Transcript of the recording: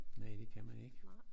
Næh det kan man ikke